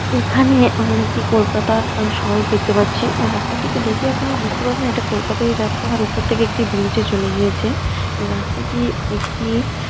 এখানে আমরা একটি কলকাতার শহর দেখতে পাচ্ছি। অ্যাঁ রাস্তাটিকে দেখে আপনারা বুঝতে পারবেন এটা কলকাতারই রাস্তা আর উপর থেকে একটি ব্রিজ ও চলে গিয়েছে রাস্তাটি-ই একটি-ই--